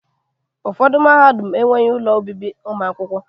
Ụfọdụ mahadum enweghị ụlọ obibi ụmụ akwụkwọ.